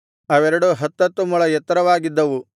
ಅವೆರಡು ಹತ್ತತ್ತು ಮೊಳ ಎತ್ತರವಾಗಿದ್ದವು